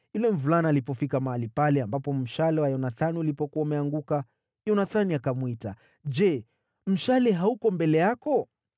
Yule mvulana alipofika mahali pale ambapo mshale wa Yonathani ulipokuwa umeanguka, Yonathani akamwita, “Je, mshale hauko mbele yako?”